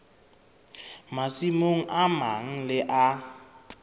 masimong a mang le a